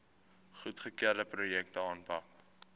goedgekeurde projekte aanpak